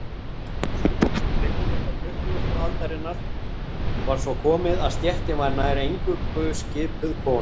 Á fyrri hluta tuttugustu aldarinnar var svo komið að stéttin var nær eingöngu skipuð konum.